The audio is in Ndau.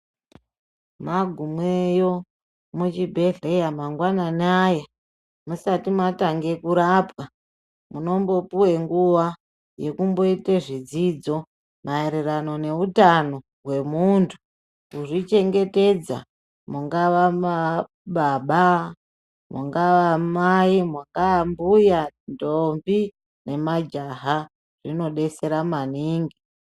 Magumweyo muchibhedhleya mangwanana aya musati matange kurapwa, munombopiwe nguva yekumboite zvidzidzo mayererano nehutano hwemuntu kuzvichengetedza. Mungava baba, vangava mayi, vangava mbuya, ntombi nemajaha zvinodetsera maningi.